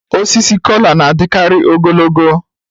Osisi Kola na-adịkarị ogologo